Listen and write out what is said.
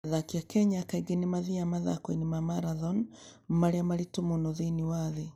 Athaki a Kenya kaingĩ nĩ mathiaga mathaako-inĩ ma marathoni marĩa maritũ mũno thĩinĩ wa thĩ.